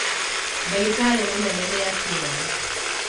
ndagĩtarĩ mũnene nĩakinya